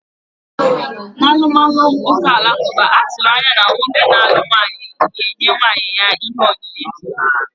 N'alụmalụ ụka alakụba, a tụrụ anya na nwoke na-alụ nwaanyị ga-enye nwunye ya ihe onyinye.